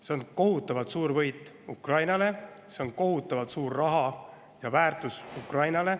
See on kohutavalt suur võit Ukrainale, see on kohutavalt suur raha ja väärtus Ukrainale.